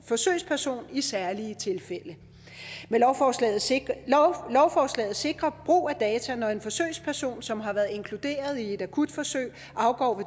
forsøgsperson i særlige tilfælde lovforslaget sikrer lovforslaget sikrer brug af data når en forsøgsperson som har været inkluderet i et akutforsøg afgår